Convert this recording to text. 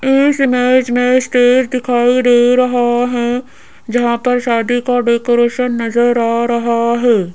इस इमेज में स्टेज दिखाई दे रहा है जहां पर शादी का डेकोरेशन नजर आ रहा है।